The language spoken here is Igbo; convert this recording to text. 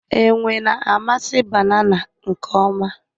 Enwe na-amasị banana nke ọma